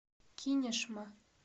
кинешма